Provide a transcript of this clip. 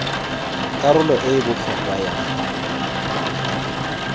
karolo e e botlhokwa ya